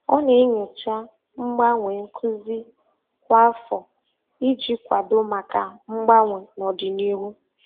Ọ na-enyocha mgbanwe nkuzi kwa afọ iji kwado maka mgbanwe n'ọdịnihu.